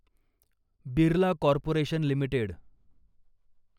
Birla corporation limited